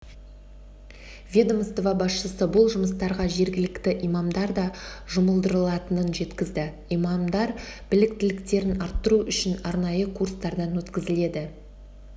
ведомство басшысы бұл жұмыстарға жергілікті имамдар да жұмылдырылатынын жеткізді имамдар біліктіліктерін арттыру үшін арнайы курстардан өткізіледі